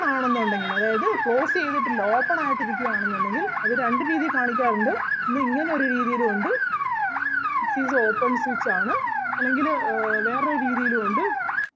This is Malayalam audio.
ആണെന്നുണ്ടെങ്കില് അതായത് close ചെയ്‌തിട്ടില്ല open ആയിട്ട് ഇരിക്കുകയാണെന്നുണ്ടെങ്കിൽ അത് രണ്ട് രീതിയിൽ കാണിക്കാറുണ്ട് ഒന്ന് ഇങ്ങനെ ഒരു രീതിയിലും ഒണ്ട് this is the open switch ആണ് അല്ലെങ്കില് ആഹ് വേറൊരു രീതിയിലും ഒണ്ട്.